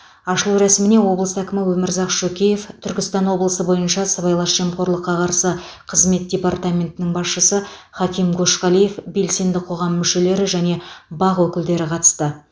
ашылу рәсіміне облыс әкімі өмірзақ шөкеев түркістан облысы бойынша сыбайлас жемқорлыққа қарсы қызмет департаментінің басшысы хаким көшқалиев белсенді қоғам мүшелері және бақ өкілдері қатысты